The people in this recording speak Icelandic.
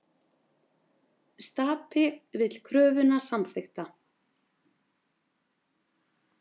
Stapi vill kröfuna samþykkta